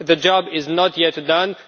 The job is not yet done.